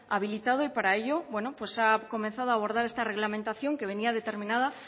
habilitado y para ello bueno pues se ha comenzado a abordar esta reglamentación que venía determinada